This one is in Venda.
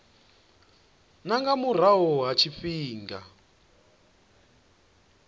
na nga murahu ha tshifhinga